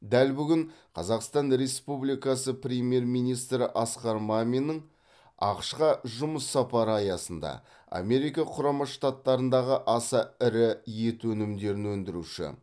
дәл бүгін қазақстан республикасы премьер министрі асқар маминнің ақш қа жұмыс сапары аясында америка құрама штаттарындағы аса ірі ет өнімдерін өндіруші